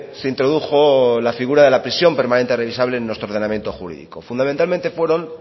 se introdujo la figura de la prisión permanente revisable en nuestro ordenamiento jurídico fundamentalmente fueron